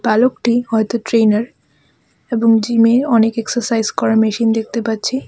বালকটি হয়তো ট্রেনার এবং জিমের অনেক এক্সারসাইজ করার মেশিন দেখতে পাচ্ছি.